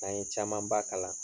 N'an ye camanba kalan